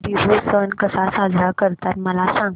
बिहू सण कसा साजरा करतात मला सांग